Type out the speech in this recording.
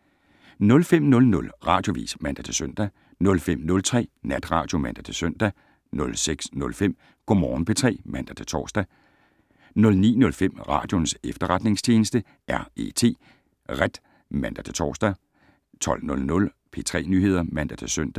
05:00: Radioavis (man-søn) 05:03: Natradio (man-søn) 06:05: Go Morgen P3 (man-tor) 09:05: Radioens Efterretningstjeneste - R.E.T. (man-tor) 12:00: P3 Nyheder (man-søn)